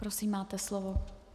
Prosím, máte slovo.